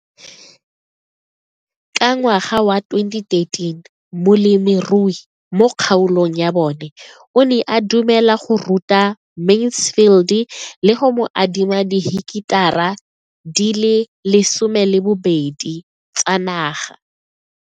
Ka ngwaga wa 2013, molemirui mo kgaolong ya bona o ne a dumela go ruta Mansfield le go mo adima di heketara di le 12 tsa naga.